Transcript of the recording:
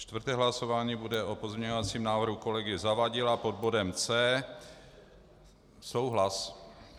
Čtvrté hlasování bude o pozměňovacím návrhu kolegy Zavadila pod bodem C. Souhlas.